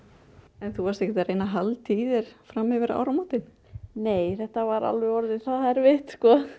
en þú varst ekkert að reyna að halda í þér fram yfir áramótin nei þetta var alveg orðið það erfitt